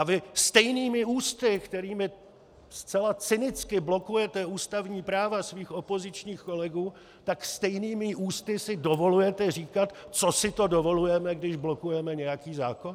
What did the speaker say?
A vy stejnými ústy, kterými zcela cynicky blokujete ústavní práva svých opozičních kolegů, tak stejnými ústy si dovolujete říkat, co si to dovolujeme, když blokujeme nějaký zákon.